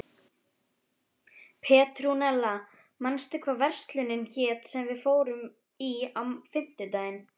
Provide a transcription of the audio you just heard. Petrúnella, manstu hvað verslunin hét sem við fórum í á fimmtudaginn?